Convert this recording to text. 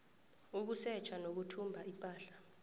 ukusetjha nokuthumba ipahla